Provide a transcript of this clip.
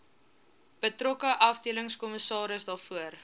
betrokke afdelingskommissaris daarvoor